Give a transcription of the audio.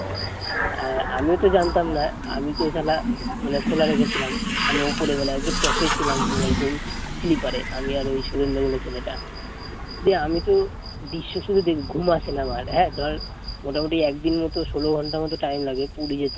আমি উপরে মানে একদম top এ ছিলাম পুরো একদম স্লীপার এ, আমি ওই শুভেন্দু বলে ছেলেটা দিয়ে আমি তো দিয়ে শুয়ে আছি ঘুম আসেনা আমার ধর মোটামুটি একদিন মতো ষোলো ঘণ্টা মত টাইম লাগে পুরী যেতে